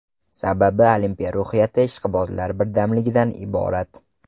Sababi Olimpiya ruhiyati ishqibozlar birdamligidan iborat.